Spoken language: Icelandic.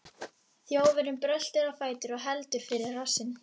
Þjófurinn bröltir á fætur og heldur fyrir rassinn.